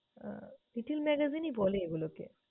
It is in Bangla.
আহ little magazine ই বলে এগুলোকে।